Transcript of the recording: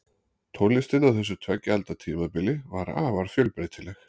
Tónlistin á þessu tveggja alda tímabili var afar fjölbreytileg.